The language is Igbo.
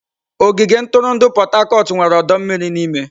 Ogige ntụrụndụ Pot-Tarcort nwere ọdọ mmiri n'ime.